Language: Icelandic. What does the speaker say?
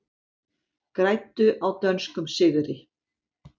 Græddu á dönskum sigri